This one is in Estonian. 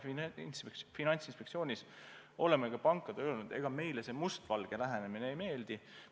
Me Finantsinspektsioonis oleme ka pankadele öelnud, ega meile see must-valge lähenemine ei meeldi.